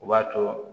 O b'a to